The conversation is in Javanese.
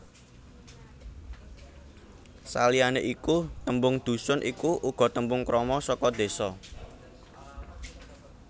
Saliyané iku tembung dhusun iku uga tembung krama saka désa